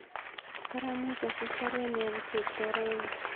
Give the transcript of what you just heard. Karamuch asich baruet neyobu Cheptoo raini